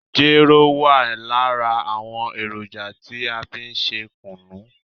Jero wa lára àwọn èròjà tí a fí n ṣe kùnú.